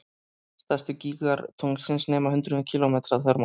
Stærstu gígar tunglsins nema hundruðum kílómetra að þvermáli.